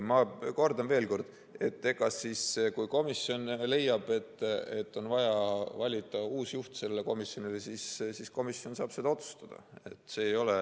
Ma kordan veel: kui komisjon leiab, et on vaja valida uus juht sellele komisjonile, siis komisjon saab seda otsustada.